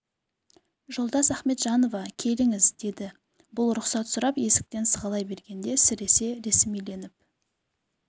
жолдас ахметжанова келіңіз деді бұл рұқсат сұрап есіктен сығалай бергенде сіресе ресмиленіп